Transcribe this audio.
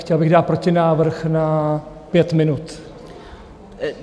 Chtěl bych dát protinávrh na pět minut.